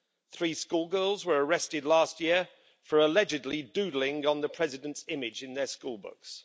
Three schoolgirls were arrested last year for allegedly doodling on the President's image in their school books.